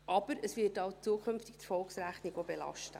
Aber es wird eben zukünftig die Erfolgsrechnung auch belasten.